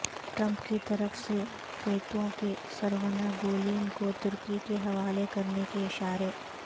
Trump کیطرف سے فیتو کے سرغنہ گولین کو ترکی کے حوالے کرنے کے اشارے